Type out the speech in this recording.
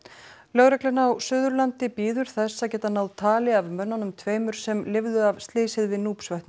lögreglan á Suðurlandi bíður þess að geta náð tali af mönnunum tveimur sem lifðu af slysið við